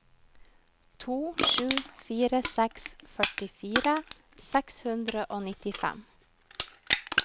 to sju fire seks førtifire seks hundre og nittifem